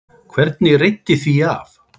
Hvernig reiddi því af?